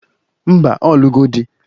Ḿbà, Ọ lugo di